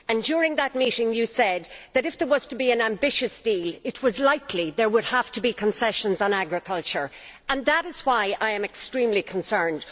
During that meeting you said that, if there was to be an ambitious deal, it was likely there would have to be concessions on agriculture. That is why I am extremely concerned.